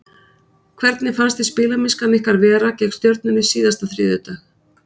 Hvernig fannst þér spilamennskan ykkar vera gegn Stjörnunni síðasta þriðjudag?